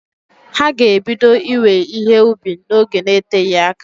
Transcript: Ha g'ebido iwe ihe ubi n'oge n'eteghi aka.